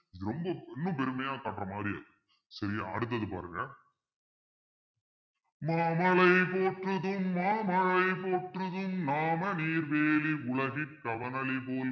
ரொம்ப இன்னும் பெருமையா பாக்குற மாறி இருக்கு சரியா அடுத்தது பாருங்க மாமழை போற்றுதும் மாமழை போற்றுதும் நாமநீர் வேலி உலகிற்கு அவனளிபோல்